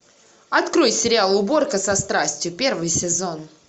открой сериал уборка со страстью первый сезон